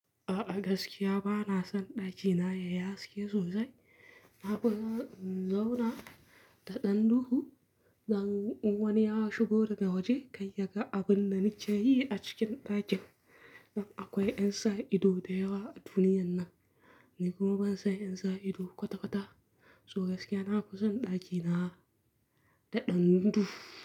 A'a, gaskiya ba na son ɗakina yayi haske sosai. Naɓu zauna da ɗanduhu, zan wane ya shigo daga waje, kai ya ga abin da ni ce yi a cikin ɗakin. Dan akwai yan sa ido da yawa a duniyan nan, ni kuma ban san yan sa ido kwata-kwata. So gaskiya na fi son ɗakina da ɗanduhu.